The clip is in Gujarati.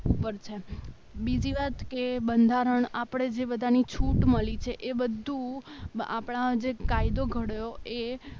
પર છે. બીજી વાત કે બંધારણ આપણે જે બધાની છૂટ મળી છે એ બધું આપણા જે કાયદો ઘડાયો એ